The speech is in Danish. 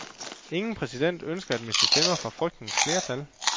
Ingen præsident ønsker at miste stemmer fra frygtens flertal.